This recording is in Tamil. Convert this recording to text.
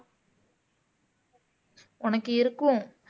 உனக்கு இருக்கும்